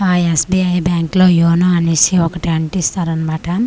ఆ SBI bank లో you know అనేసి ఒకటి అంటిస్తారన్నమాట.